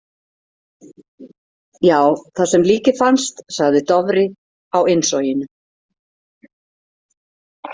Já, þar sem líkið fannst, sagði Dofri á innsoginu.